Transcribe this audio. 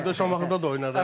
Şamaxıda da oynardı.